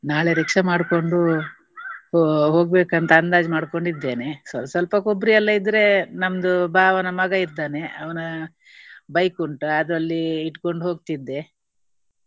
ನಾಳೆ rickshaw ಮಾಡ್ಕೊಂಡು ಹೋ~ ಹೋಗ್ಬೇಕಂತ ಅಂದಾಜು ಮಾಡ್ಕೊಂಡು ಇದ್ದೇನೆ. ಸ್ವಲ್~ ಸ್ವಲ್ಪ ಕೊಬ್ಬರಿ ಎಲ್ಲಾ ಇದ್ರೆ ನಮ್ದು ಭಾವನ ಮಗ ಇದ್ದಾನೆ. ಅವನ bike ಉಂಟು. ಅದರಲ್ಲಿ ಇಟ್ಕೊಂಡು ಹೋಗ್ತಿದ್ದೆ.